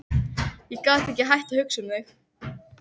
Ég get ekki hætt að hugsa um þig.